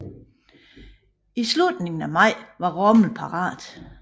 I slutningen af maj var Rommel parat